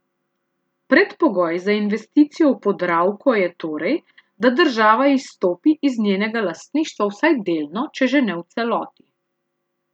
Predpogoj za investicijo v Podravko je torej, da država izstopi iz njenega lastništva vsaj delno, če že ne v celoti.